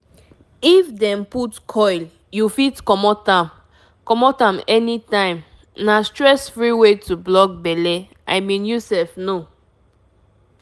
if you put iud you know say protection sure e go block belle with no wahala.um ah